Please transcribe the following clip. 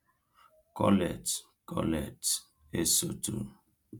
Colette Colette Esotu